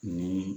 Ni